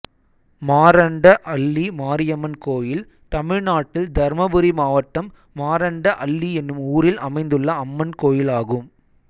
மாரண்ட அள்ளி மாரியம்மன் கோயில் தமிழ்நாட்டில் தர்மபுரி மாவட்டம் மாரண்ட அள்ளி என்னும் ஊரில் அமைந்துள்ள அம்மன் கோயிலாகும்